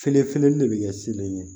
Fee feeleli de bɛ kɛ siniɲɛ